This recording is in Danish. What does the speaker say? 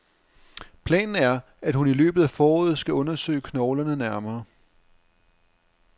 Planen er, at hun i løbet af foråret skal undersøge knoglerne nærmere.